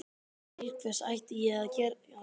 Til hvers ætti ég að gera það?